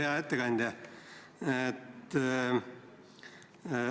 Hea ettekandja!